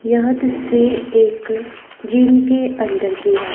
यह तस्वीर एक जिम के अंदर की है।